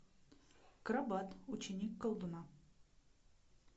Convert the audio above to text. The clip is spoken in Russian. крабат ученик колдуна